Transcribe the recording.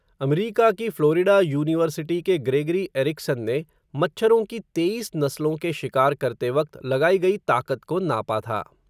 अमरीका की Florida University के Gregory Erickson ने, मच्छरों की तेईस नस्लों के शिकार करते वक़्त लगाई गई ताक़त को नापा था.